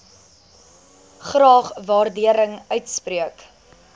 graag waardering uitspreek